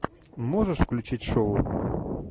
можешь включить шоу